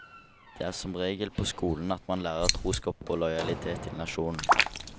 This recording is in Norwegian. Det er som regel på skolen at man lærer troskap og lojalitet til nasjonen.